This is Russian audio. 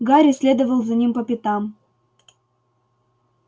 гарри следовал за ним по пятам